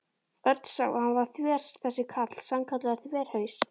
Örn sá að hann var þver þessi karl, sannkallaður þverhaus.